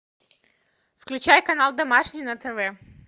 включай канал домашний на тв